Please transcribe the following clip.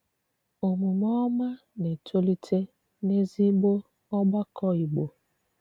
Òmùmè òmá na-etòlítè n'ezìgbò ògbàkọ Ìgbò.